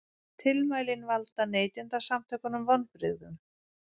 Tilmælin valda Neytendasamtökunum vonbrigðum